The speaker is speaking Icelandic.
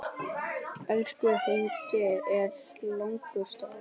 Ensku heitin eru látin duga.